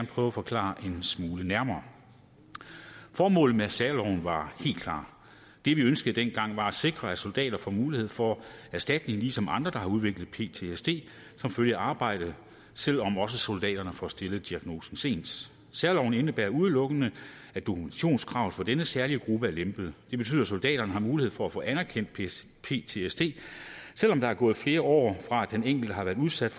prøve at forklare en smule nærmere formålet med særloven var helt klart det vi ønskede dengang var at sikre at soldater får mulighed for erstatning ligesom andre der har udviklet ptsd som følge af arbejdet selv om også soldaterne får stillet diagnosen sent særloven indebærer udelukkende at dokumentationskravet for denne særlige gruppe er lempet det betyder at soldaterne har mulighed for at få anerkendt ptsd selv om der er gået flere år fra at den enkelte har været udsendt